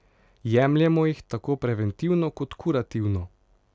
Jemljemo jih tako preventivno kot kurativno.